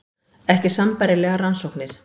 Ekki sambærilegar rannsóknir